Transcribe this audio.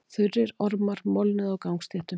Þurrir ormar molnuðu á gangstéttum.